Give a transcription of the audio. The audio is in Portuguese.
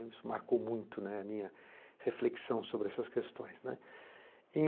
Isso marcou muito, né, a minha reflexão sobre essas questões, né.